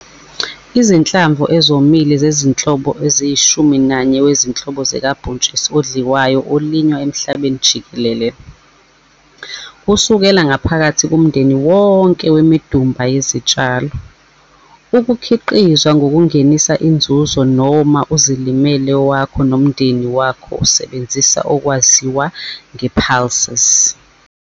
Izinhlamvu ezomile zezinhlobo eziyishumi nanye wezinhlobo zikabhontshisi odliwayo olinywa emhlabeni jikelele, kusukela ngaphakathi kumndeni wonke wemidumba yezintshalo, ukukhiqizwa ngokungenisa inzuzo noma izilimele awakho nomndeni wakho asebenzisa okwazi wa nge-pulses.